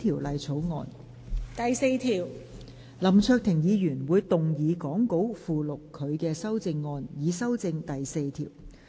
林卓廷議員會動議講稿附錄他的修正案，以修正第4條。